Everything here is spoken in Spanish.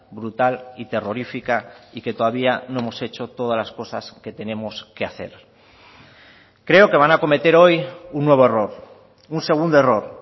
brutal y terrorífica y que todavía no hemos hecho todas las cosas que tenemos que hacer creo que van a cometer hoy un nuevo error un segundo error